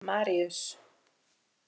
Maríus